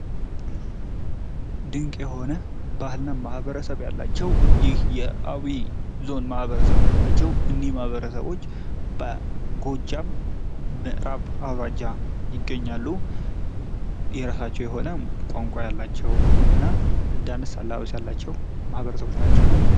ድንቅ የሆነ ባህልና ማህበረሰብ ያላቸው የአዊ ዞን ማህበረሰቦቻቸው እንዲ ማህበረሰቦች ጎጃም ይገኛሉ የራሳቸዉ የሆነ ቋንቋ ያላቸው ማህበረሰቦች ናቸው።